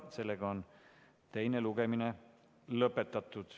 Sellega on teine lugemine lõpetatud.